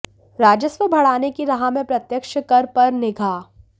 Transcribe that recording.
राजस्व बढ़ाने की राह में प्रत्यक्ष कर पर निगाह